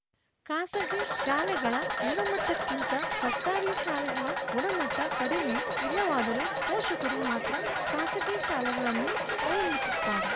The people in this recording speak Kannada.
ಖಾಸಗಿ ಶಾಲೆಗಳ ಗುಣಮಟ್ಟಕ್ಕಿಂತ ಸರ್ಕಾರಿ ಶಾಲೆಗಳ ಗುಣಮಟ್ಟಕಡಿಮೆ ಇಲ್ಲವಾದರೂ ಪೋಷಕರು ಮಾತ್ರ ಖಾಸಗಿ ಶಾಲೆಗಳನ್ನೇ ಅವಲಂಬಿಸುತ್ತಾರೆ